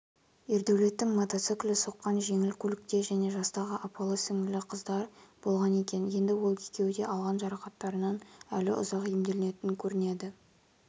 ердәулеттің мотоциклі соққан жеңіл көлікте және жастағы апалы-сіңлілі қыздар болған екен енді ол екеуі де алған жарақаттарынан әлі ұзақ емделетін көрінеді